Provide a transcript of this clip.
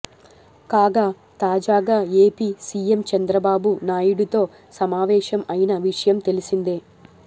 కాగా తాజాగా AP CM Chandrababu నాయుడితో సమావేశం అయిన విషయం తెలిసిందే